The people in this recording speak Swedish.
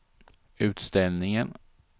utställningen